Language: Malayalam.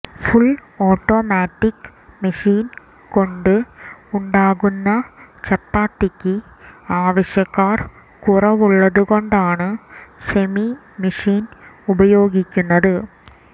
ഫുൾ ഓട്ടോമാറ്റിക് മെഷീൻ കൊണ്ട് ഉണ്ടാക്കുന്ന ചപ്പാത്തിക്ക് ആവശ്യക്കാർ കുറവുള്ളതു കൊണ്ടാണ് സെമി മെഷിൻ ഉപയോഗിക്കുന്നത്